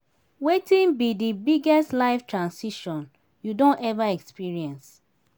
wetin be di biggest life transition you don ever experience?